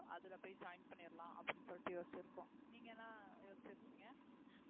அதுல போய் join பண்ணிறலாம் அப்படின்னு சொல்லிட்டு யோசிச்சிருக்கோம் நீங்க என்ன யோசிச்சிருக்கீங்க